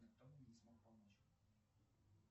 никто мне не смог помочь